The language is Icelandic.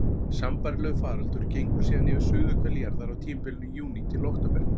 Sambærilegur faraldur gengur síðan yfir suðurhvel jarðar á tímabilinu júní til október.